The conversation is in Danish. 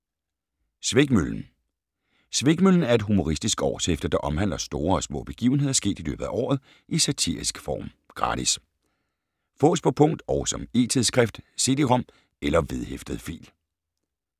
Svikmøllen Svikmøllen er et humoristisk årshæfte, der omhandler store og små begivenheder sket i løbet af året, i satirisk form. Gratis. Fås på punkt og som e-tidsskrift: cd-rom eller vedhæftet fil